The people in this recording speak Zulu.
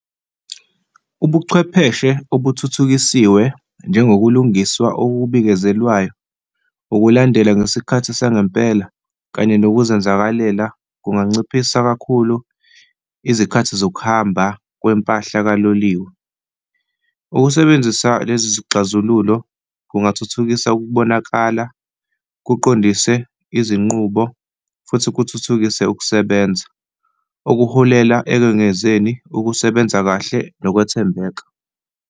Ubuchwepheshe okuthuthukisiwe njengokulungiswa obubikezelwayo, ukulandela ngesikhathi sangempela kanye ngokuzenzakalela kunganciphisa kakhulu izikhathi zokuhamba kwempahla kaloliwe. Ukusebenzisa lezi zixazululo kungathuthukisa ukubonakala, kuqondise izinqubo futhi kuthuthukise ukusebenza okuholela ekwengezweni ukusebenza kahle nokwethembeka.